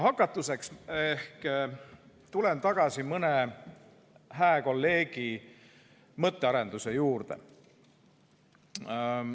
Hakatuseks tulen ma tagasi mõne hää kolleegi mõttearenduse juurde.